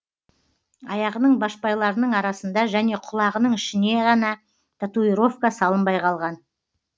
аяғының байшпайларының арасында және құлағының ішіне ғана татуировка салынбай қалған